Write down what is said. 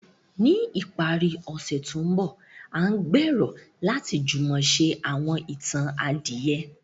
Ni ìparí ọ̀sẹ̀ tó ń bọ̀, a n gbèrò láti jùmọ̀ se àwọn itan adìyẹ.